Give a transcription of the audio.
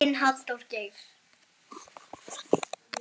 Þinn, Halldór Geir.